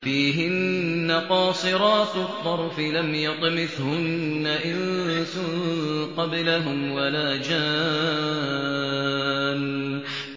فِيهِنَّ قَاصِرَاتُ الطَّرْفِ لَمْ يَطْمِثْهُنَّ إِنسٌ قَبْلَهُمْ وَلَا جَانٌّ